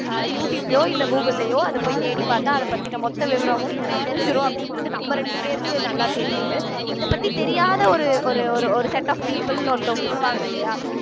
அஹ் யூ ட்யூப்லயோ இல்ல கூகுள்லயோ அத போய் தேடிப்பாத்தா அதைப் பத்தின மொத்த விவரமும் தெரிஞ்சிரும் அப்படின்றது நம்ம ரெண்டு பேருக்கு நல்லா தெரியுது இத பத்தி தெரியாத ஒரு ஒரு ஒரு ஒரு set of people ன்னு ஒருத்தவங்க இருப்பாங்க இல்லையா